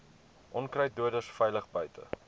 onkruiddoders veilig buite